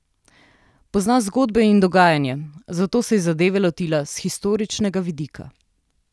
Pozna zgodbe in dogajanje, zato se je zadeve lotila s historičnega vidika.